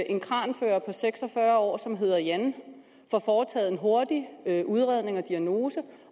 en kranfører på seks og fyrre år som hedder jan får foretaget en hurtig udredning og diagnose